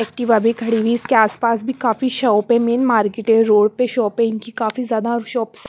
Activa खड़ी हुई इसके आसपास भी काफी शॉप है मेन मार्केट है रोड पे शॉप है इनकी काफी ज्यादा शॉप्स --